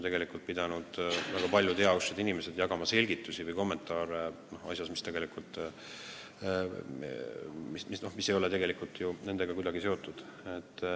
Tegelikult on väga paljud heausksed inimesed pidanud kommenteerima või selgitama asja, mis ei ole nendega kuidagi seotud.